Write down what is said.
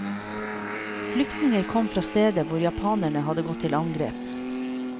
Flyktninger kom fra steder hvor japanerne hadde gått til angrep.